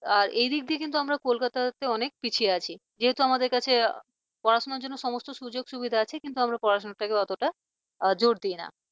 আর এদিক দিয়ে কিন্তু আমরা কলকাতার থেকে অনেক পিছিয়ে আছি যেহেতু আমাদের কাছে পড়াশোনার জন্য সমস্ত সুযোগ সুবিধা আছে কিন্তু পড়াশোনা টাকা অতটা জোর দিই না